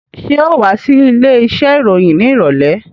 Ṣé ò wá sí ilé iṣẹ́ ìròyìn ní ìrọ̀lẹ́?